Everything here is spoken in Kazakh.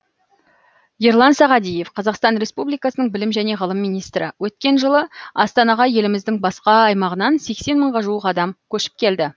ерлан сағадиев қазақстан республикасының білім және ғылым министрі өткен жылы астанаға еліміздің басқа аймағынан сексен мыңға жуық адам көшіп келді